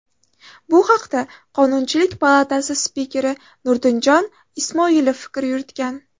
Bu haqda Qonunchilik palatasi spikeri Nurdinjon Ismoilov fikr yuritgan .